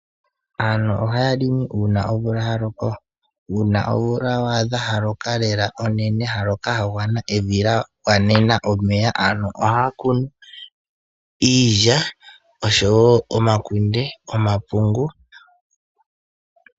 Aantu ohaya longo uuna omvula ya loko, uuna wadha omvula onene, ya loka ya gwana, evi lya gwanena lela omeya. Aantu ohaya kunu iilya, omakunde, nomapungu.